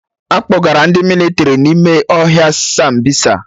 Akpọgara ndị mịlịtrị ma ime ohia Sambisa